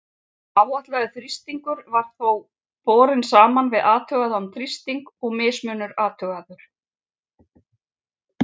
Áætlaður þrýstingur var þá borinn saman við athugaðan þrýsting og mismunur athugaður.